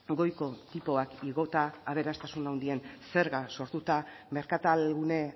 goiko tipoak igota aberastasun handien zerga sortuta merkatalgune